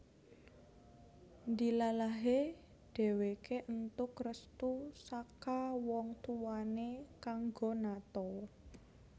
Ndilalahe dheweke entuk restu saka wong tuwane kanggo nato